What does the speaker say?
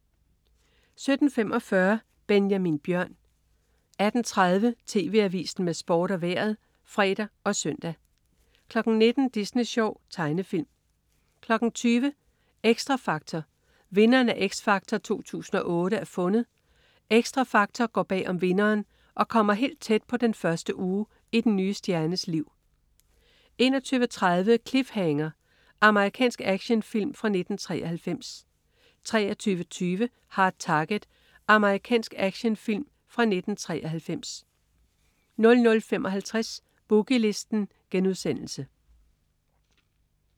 17.45 Benjamin Bjørn 18.30 TV Avisen med Sport og Vejret (fre og søn) 19.00 Disney Sjov. Tegnefilm 20.00 Xtra Factor. Vinderen af "X Factor 2008" er fundet. "Xtra Factor" går bag om vinderen og kommer helt tæt på den første uge i den nye stjernes liv 21.30 Cliffhanger. Amerikansk actionfilm fra 1993 23.20 Hard Target. Amerikansk actionfilm fra 1993 00.55 Boogie Listen*